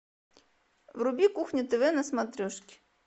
вруби кухня тв на смотрешке